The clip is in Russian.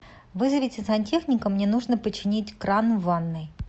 вызовите сантехника мне нужно починить кран в ванной